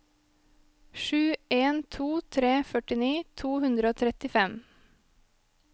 sju en to tre førtini to hundre og trettifem